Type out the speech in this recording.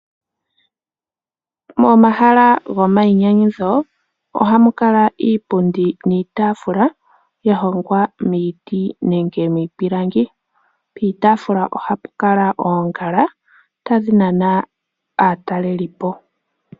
Momahala gomayinyanyudho ohamu kala iipundi niitaafula ya hongwa miiti nenge miipilangi. Piitaafula ohapu kala oongala tadhi nana aatalelipo.